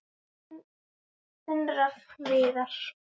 Þinn Rafn Viðar.